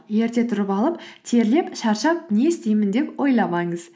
ерте тұрып алып терлеп шаршап не істеймін деп ойламаңыз